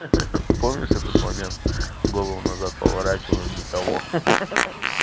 ха-ха помнишь этот момент голову назад поворачиваем никого ха-ха